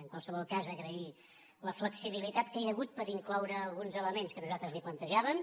en qualsevol cas agrair la flexibilitat que hi ha hagut per incloure alguns elements que nosaltres li plantejàvem